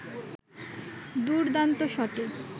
দুর্দান্ত শটে